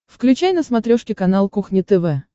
включай на смотрешке канал кухня тв